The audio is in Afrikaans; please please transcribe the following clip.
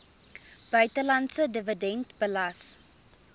buitelandse dividend belas